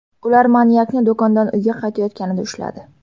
Ular manyakni do‘kondan uyga qaytayotganida ushladi.